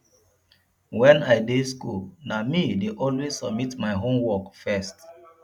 wen i dey school na me dey always submit my homework first